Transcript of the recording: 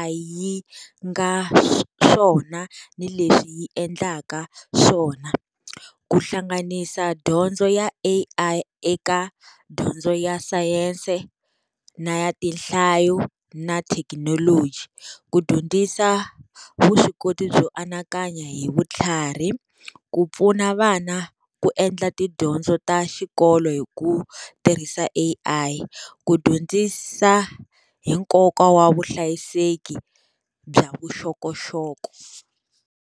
A_I yi nga swona ni leswi yi endlaka swona. Ku hlanganisa dyondzo ya A_I eka dyondzo ya science, na ya tinhlayo, na thekinoloji. Ku dyondzisa vuswikoti byo anakanya hi vutlhari, ku pfuna vana ku endla tidyondzo ta xikolo hi ku tirhisa A_I, ku dyondzisa hi nkoka wa vuhlayiseki bya vuxokoxoko.